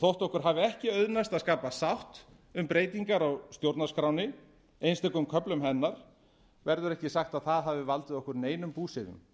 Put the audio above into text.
þótt okkur hafi ekki auðnast að skapa sátt um breytingar á stjórnarskránni einstökum köflum hennar verður ekki sagt að það hafi valdið okkur neinum búsifjum